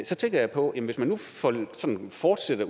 så tænker jeg på at hvis man nu sådan fortsætter